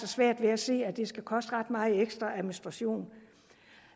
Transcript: svært ved at se at det skal koste ret meget ekstra administration